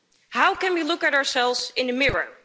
How can we look at ourselves in the mirror?